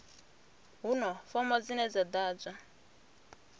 huna fomo dzine dza ḓadzwa